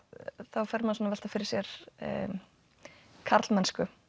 velta fyrir mér karlmennsku